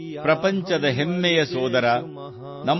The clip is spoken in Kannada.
Maithili sound clip 30 seconds Hindi translation